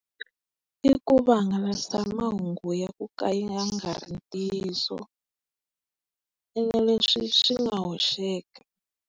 I ku vahangalasa mahungu ya ku ka ya nga ri ntiyiso. Ene leswi swi nga hoxeka.